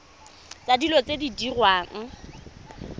tsa dilo tse di diriwang